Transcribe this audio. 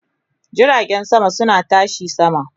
Jiragen sama suna tashi sama